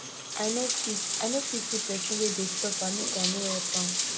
i no fit i no fit see pesin wey dey suffer make i no help am